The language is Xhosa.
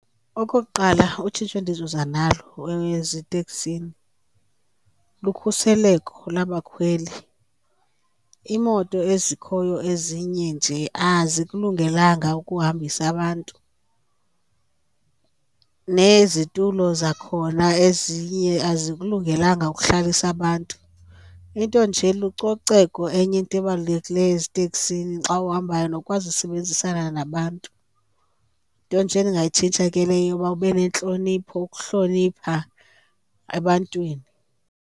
Okokuqala, utshintsho endizoza nalo eziteksini lukhuseleko labakhweli. Iimoto ezikhoyo ezinye nje azikulungelanga ukuhambisa abantu, nezitulo zakhona ezinye azikulungelanga ukuhlalisa abantu. Into nje lucoceko enye into ebalulekileyo eziteksini xa uhambayo, nokwazi usebenzisana nabantu. Yinto nje endingayitshintsha ke leyo yoba ube nentlonipho, ukuhlonipha ebantwini.